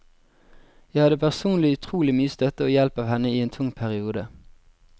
Jeg hadde personlig utrolig mye støtte og hjelp av henne i en tung periode.